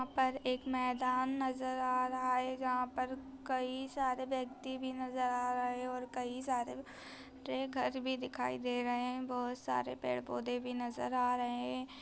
यहां पर एक मैदान नजर आ रहा है जहाँ पर कई सारे व्यक्ति भी नजर आ रहे और कई सारे घर भी दिखाई दे रहे हैं बहोत सारे पेड़ पौधे भी नजर आ रहे हैं।